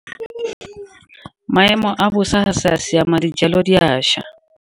Maemo a bosa a sa siama dijalo di a ša.